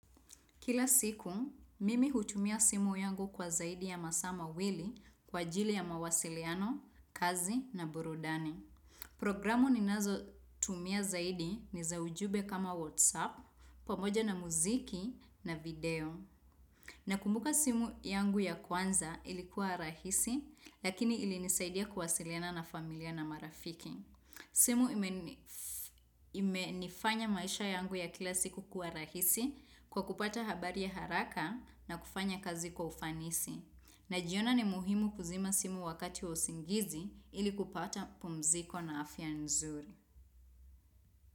Kila siku, mimi hutumia simu yangu kwa zaidi ya masaa mawili, kwa ajili ya mawasiliano, kazi na burudani. Programu ninazo, tumia zaidi ni za ujumbe kama WhatsApp. Pamoja na muziki na video. Nakumbuka simu yangu ya kwanza ilikuwa rahisi, lakini ili nisaidia kuwasiliana na familia na marafiki. Simu ime. Imenifanya maisha yangu ya kila siku kuwa rahisi, kwa kupata habari ya haraka, na kufanya kazi kufanisi. Najiona ni muhimu kuzima simu wakati wa usingizi, ili kupata pumziko na afya nzuri.